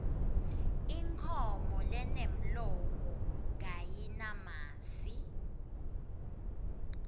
inkhomo lenemlomo kayinamasi